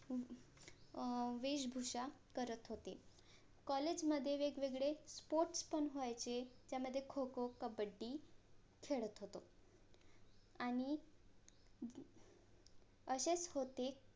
अं वेशभूषा करत होते COLLAGE मधे वेगवेगळे SPORTS पण व्हायचे त्यामध्ये खो खो कबड्डी खेळत होतो आणि असेच होते